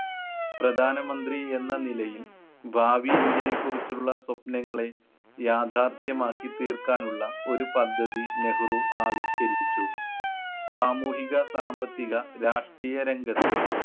പ്രധാനമന്ത്രി എന്ന നിലയിൽ ഭാവി ഇന്ത്യയെ കുറിച്ചുള്ള സ്വപ്നങ്ങളെ യാഥാർഥ്യമാക്കി തീർക്കാൻ ഉള്ള ഒരു പദ്ധതി നെഹ്‌റു ആവിഷ്‌കരിച്ചു. സാമൂഹിക സാമ്പത്തിക രാഷ്ട്രീയ രംഗത്ത്